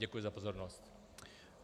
Děkuji za pozornost.